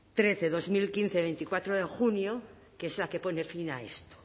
trece barra dos mil quince de veinticuatro de junio que es la que pone fin a eso